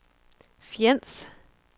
Fjends